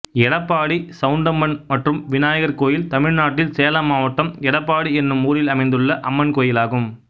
எடப்பாடி சவுண்டம்மன் மற்றும் விநாயகர் கோயில் தமிழ்நாட்டில் சேலம் மாவட்டம் எடப்பாடி என்னும் ஊரில் அமைந்துள்ள அம்மன் கோயிலாகும்